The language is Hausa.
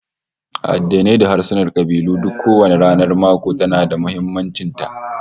A addinai da harsuna da kabilu duk kowanne ranar mako tana da muhimmancin ta